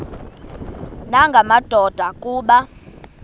nanga madoda kuba